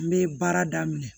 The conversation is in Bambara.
N bɛ baara daminɛ